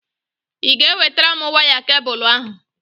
Ị ga-ewetara m waya kebụlụ ahụ?